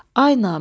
Ay namərd!